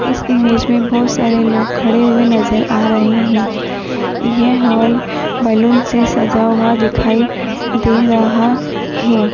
इस इमेज में बहोत सारे लोग खड़े हुए नजर आ रहे हैं ये हॉल बलून से सजा हुआ दिखाई दे रहा है।